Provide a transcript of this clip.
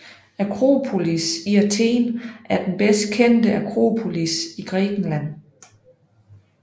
Akropolis i Athen er den bedst kendte akropolis i Grækenland